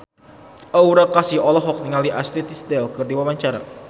Aura Kasih olohok ningali Ashley Tisdale keur diwawancara